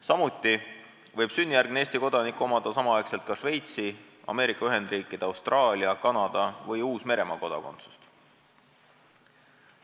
Samuti võib sünnijärgne Eesti kodanik omada samaaegselt ka Šveitsi, Ameerika Ühendriikide, Austraalia, Kanada või Uus-Meremaa kodakondsust.